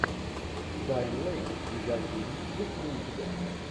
дайан лэйн видеофильм есть ли у тебя